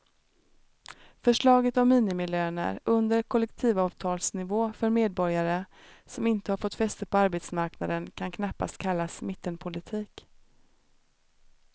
Förslaget om minimilöner under kollektivavtalsnivå för medborgare som inte har fått fäste på arbetsmarknaden kan knappast kallas mittenpolitik.